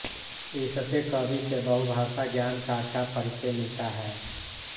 इससे कवि के बहुभाषा ज्ञान का अच्छा परिचय मिलता है